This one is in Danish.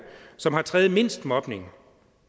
som har tredjemindst mobning